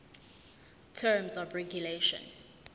terms of regulation